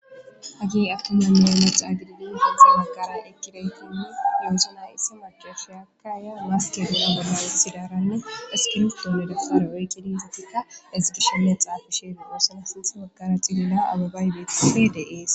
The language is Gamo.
hagi awtonoomiyaome xaagididi hindza makara ekireykinne yoosunay issi macofiyakkaya waaskeduna bonawessidaranne espirstoomedafare oykkidi datikka ezgishshinne xaafishe duosana sintha makara cilila ababaybetfe deees